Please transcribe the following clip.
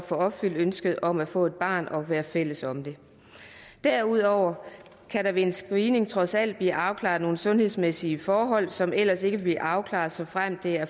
få opfyldt ønsket om at få et barn og være fælles om det derudover kan der ved en screening trods alt blive afklaret nogle sundhedsmæssige forhold som ellers ikke ville afklares såfremt der